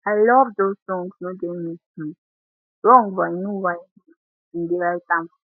i love those songs no get me um wrong but i know why i um bin dey write dem